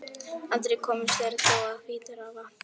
Aldrei komust þeir þó að Hvítárvatni.